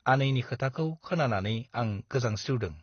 आनैनि खोथाखौ खोनानानै आं गोजांस्रिवदों ।